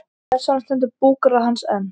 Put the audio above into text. Þess vegna stendur búgarður hans enn.